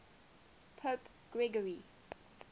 pope gregory